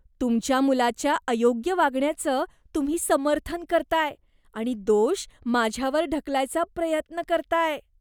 तुमच्या मुलाच्या अयोग्य वागण्याचं तुम्ही समर्थन करताय आणि दोष माझ्यावर ढकलायचा प्रयत्न करताय.